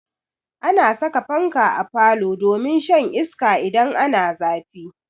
Ana saka fanka a falo domin shan iska idan ana zafi.